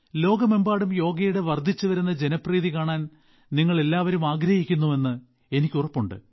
ലോകമെമ്പാടും യോഗയുടെ വർദ്ധിച്ചുവരുന്ന ജനപ്രീതി കാണാൻ നിങ്ങൾ എല്ലാവരും ആഗ്രഹിക്കുന്നുവെന്ന് എനിക്ക് ഉറപ്പുണ്ട്